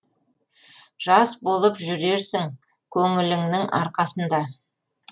жас болып жүрерсің көңіліңнің арқасында